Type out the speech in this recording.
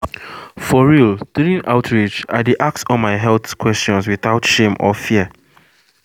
for real during outreach i dey ask all my health questions without shame or fear.